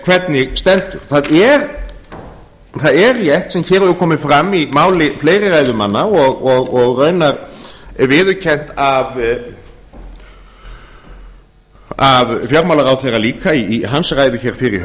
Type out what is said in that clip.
hvernig stendur það er rétt sem hér hefur komið fram í máli fleiri ræðumanna og raunar viðurkennt af fjármálaráðherra líka í hans ræðu hér fyrr í